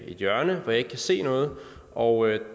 hjørne hvor jeg ikke kunne se noget og